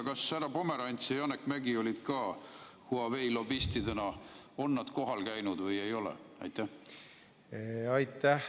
Kas härra Pomerants ja Janek Mäggi Huawei lobistidena on ka kohal käinud või ei ole?